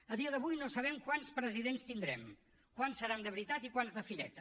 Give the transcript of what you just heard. a dia d’avui no sabem quants presidents tindrem quants seran de veritat i quants de fireta